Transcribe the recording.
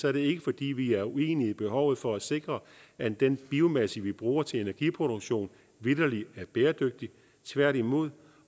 er det ikke fordi vi er uenige i behovet for at sikre at den biomasse vi bruger til energiproduktion vitterlig er bæredygtig tværtimod